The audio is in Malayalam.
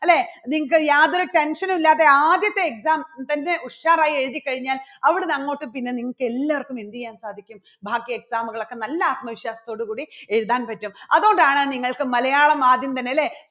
അല്ലേ, നിങ്ങക്ക് യാതൊരു tension ഉം ഇല്ലാതെ ആദ്യത്തെ exam തന്നെ ഉഷാറായി എഴുതിക്കഴിഞ്ഞാൽ അവിടുന്ന് അങ്ങോട്ട് പിന്നെ നിങ്ങക്ക് എല്ലാർക്കും എന്ത് ചെയ്യാൻ സാധിക്കും ബാക്കി exam കൾ ഒക്കെ നല്ല ആത്മവിശ്വാസത്തോടുകൂടി എഴുതാൻ പറ്റും. അതുകൊണ്ടാണ് നിങ്ങൾക്ക് മലയാളം ആദ്യം തന്നെ അല്ലേ